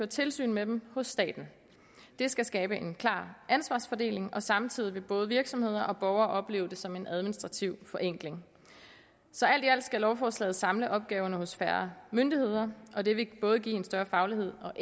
tilsyn med dem hos staten det skal skabe en klar ansvarsfordeling og samtidig vil både virksomheder og borgere opleve det som en administrativ forenkling så alt i alt skal lovforslaget samle opgaverne hos færre myndigheder og det vil give både en større faglighed og